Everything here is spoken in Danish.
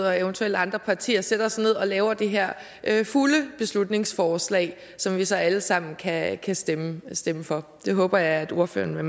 og eventuelt andre partier sætter sig ned og laver det her fulde beslutningsforslag som vi så alle sammen kan stemme stemme for det håber jeg at ordføreren